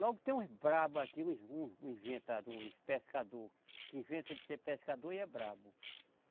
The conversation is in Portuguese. Logo tem uns brabo aqui, inventador, uns pescador que inventa de ser pescador e é brabo.